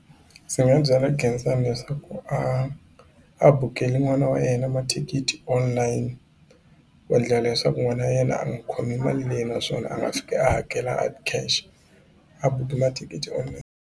Ndzi nga byela Khensani leswaku a a bukeli n'wana wa yena mathikithi online ku endlela leswaku n'wana wa yena a nga khomi mali leyi naswona a nga fika a hakela hard cash a buki mathikithi online.